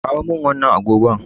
Kawo min wannan agogon.